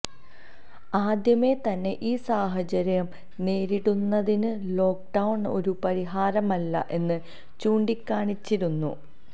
ആദ്യമേ തന്നെ ഈ സാഹചര്യം നേരിടുന്നതിന് ലോക്ക്ഡൌണ് ഒരു പരിഹാരമല്ല എന്ന് ചൂണ്ടിക്കാണിച്ചിരുന്നു